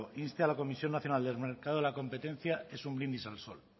insta a la comisión nacional del mercado de la competencia es un brindis al sol